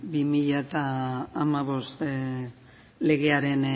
bi mila hamabost legearen